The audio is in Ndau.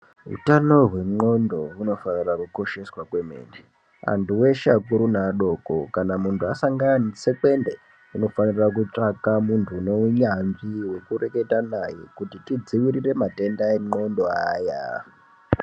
Utano hwenxhlondo hunofanira kukosheswa kwemene. Antu eshe akuru neadoko, kana munhu asangana netsekwende unofanira kutsvaka munhu uneunyanzvi wekureketa naye, kuti tidziirire matenda enxlondo aya.